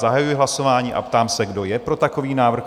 Zahajuji hlasování a ptám se, kdo je pro takový návrh?